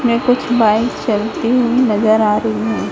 ये कुछ बाइक्स चलती हुई नजर आ रही है।